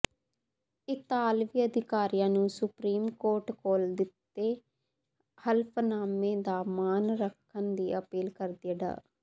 ਇਤਾਲਵੀ ਅਧਿਕਾਰੀਆਂ ਨੂੰ ਸੁਪਰੀਮ ਕੋਰਟ ਕੋਲ ਦਿੱਤੇ ਹਲਫ਼ਨਾਮੇ ਦਾ ਮਾਣ ਰੱਖਣ ਦੀ ਅਪੀਲ ਕਰਦਿਆਂ ਡਾ